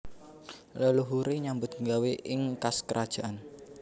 Leluhure nyambut gawé ing kas kerajaan